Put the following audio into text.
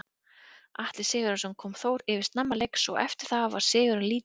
Atli Sigurjónsson kom Þór yfir snemma leiks og eftir það var sigurinn lítið í hættu.